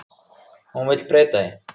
Hún vill breyta því.